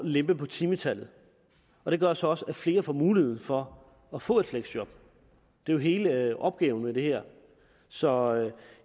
lempe på timetallet og det gør så også at flere får mulighed for at få et fleksjob det er jo hele opgaven med det her så